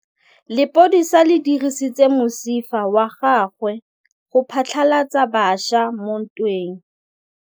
Lepodisa le dirisitse mosifa wa gagwe go phatlalatsa batšha mo ntweng.